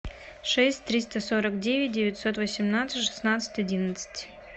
шесть триста сорок девять девятьсот восемнадцать шестнадцать одиннадцать